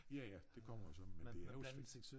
Ja ja det kommer jo så men det er også fordi